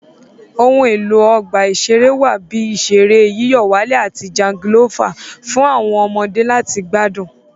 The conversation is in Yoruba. Ohun èlò Ọgbà ìṣeré wà bíi ìṣeré yíyọ̀wálẹ̀ àti jangolófà fún àwọn ọmọdé láti gbádùn